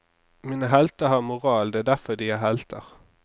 Mine helter har moral, det er derfor de er helter.